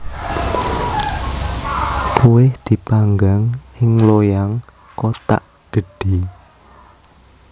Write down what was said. Kuweh dipanggang ing loyang kothak gedhe